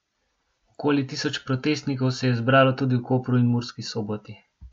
Okoli tisoč protestnikov se je zbralo tudi v Kopru in Murski Soboti.